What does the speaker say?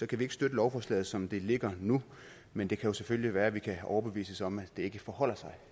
kan vi ikke støtte lovforslaget som det ligger nu men det kan jo selvfølgelig være at vi kan overbevises om at det ikke forholder sig